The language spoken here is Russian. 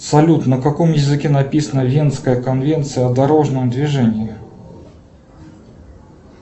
салют на каком языке написана венская конвенция о дорожном движении